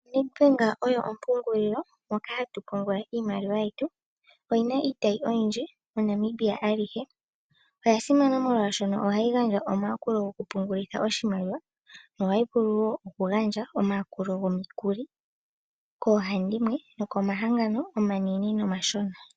Nedbank oyo ompungulilo moka hatu pungula iimaliwa yetu, oyina iitayi oyindji moNamibia alihe. Oya simana molwaashoka ohayi gandja omayakulo goku pungulitha oshimaliwa, ohayi vulu woo oku gandja omayakulo gomikuli koohandimwe nokomahangano omanene nomashona.